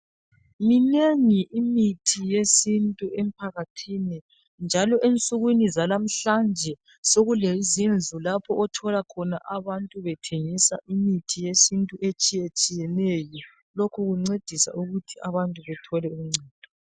Minengi imithi yesintu emphakathini njalo ensukwini zanamhlanje sekule zindlu othola khona abantu bethemgisa imithi yesintu etshiyetshiye neyo lokhu kuncedisa ukuthi abantu bathole uncendo.